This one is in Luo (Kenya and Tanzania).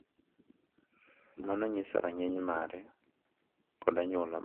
Mano nyiso rang’iny mare kod anyuola mare.